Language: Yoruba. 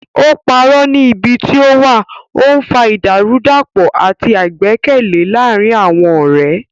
Ó parọ́ nípa ibi tí ó wà, ó ń fa ìdàrúdàpọ̀ àti àìgbẹ́kẹ̀lé láàárín àwọn ọ̀rẹ́.